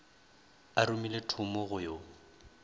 a romile thomo go yo